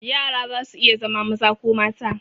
Yara zasu iya zama maza ko mata.